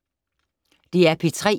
DR P3